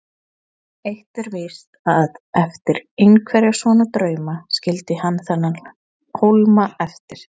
Eitt er víst, að eftir einhverja svona drauma skildi hann þennan hólma eftir.